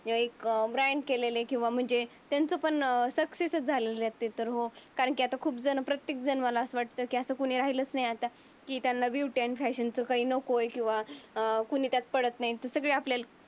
एक ब्रँड केलेले किंवा म्हणजे त्यांच सक्सेस झालेल्या असते. पण कारण की खूप जण प्रत्येक जण असं कोणी राहिलंच नाही. आता की त्यांना ब्युटी अँड फॅशनचे काही नकोय किंवा अं कोणी त्यात पडत नाही. सगळं आपल